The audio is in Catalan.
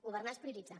governar és prioritzar